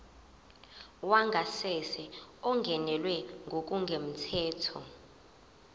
wangasese ungenelwe ngokungemthetho